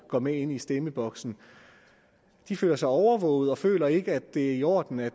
går med ind i stemmeboksen de føler sig overvåget og føler ikke at det er i orden at